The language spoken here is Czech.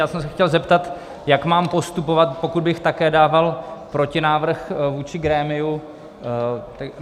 Já jsem se chtěl zeptat, jak mám postupovat, pokud bych také dával protinávrh vůči grémiu.